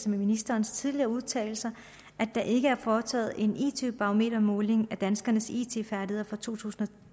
med ministerens tidligere udtalelser at der ikke er foretaget en it barometermåling af danskernes it færdigheder for to tusind og